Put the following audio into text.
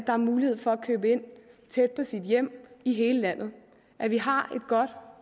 har mulighed for at købe ind tæt på sit hjem i hele landet at vi har et godt